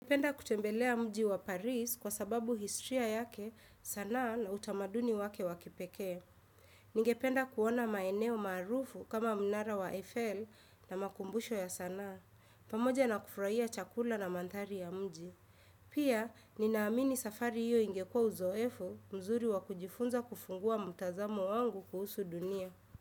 Napenda kutembelea mji wa Paris kwa sababu historia yake sana na utamaduni wake wakipeke. Nigependa kuona maeneo marufu kama mnara wa Eiffel na makumbusho ya sanaa. Pamoja na kufurahia chakula na mantari ya mji. Pia, ninaamini safari hiyo ingekua uzoefo mzuri wa kujifunza kufungua mutazamu wangu kuhusu dunia.